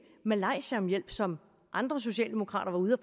malaysia om hjælp som andre socialdemokrater var ude at